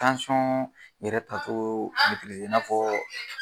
yɛrɛ tacogoo i n'a fɔɔ